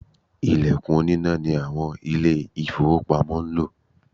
Ìlẹ̀kùn oníná ni àwọn Ilé-ìfowópamọ́ ń lò